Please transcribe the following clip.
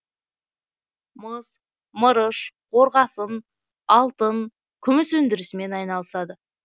мыс мырыш қорғасын алтын күміс өндірісімен айналысады